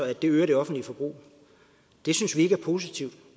at det øger det offentlige forbrug det synes vi ikke er positivt